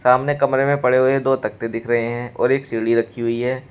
सामने कमरे में पड़े हुए दो रखते दिख रहे हैं और एक सीढ़ी रखी हुई है।